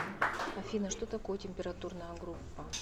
афина что такое температурная группа